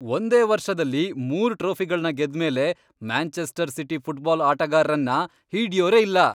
ಒಂದೇ ವರ್ಷದಲ್ಲಿ ಮೂರ್ ಟ್ರೋಫಿಗಳ್ನ ಗೆದ್ಮೇಲೆ ಮ್ಯಾಂಚೆಸ್ಟರ್ ಸಿಟಿ ಫುಟ್ಬಾಲ್ ಆಟಗಾರ್ರನ್ನ ಹಿಡ್ಯೋರೇ ಇಲ್ಲ!